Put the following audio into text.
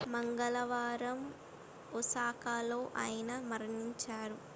మంగళవారం ఒసాకాలో ఆయన మరణించారు